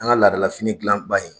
An ka laada la fini gilan ba ye